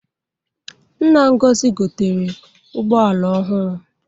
Nna Ngozi gotere ụgboala ọhụrụ.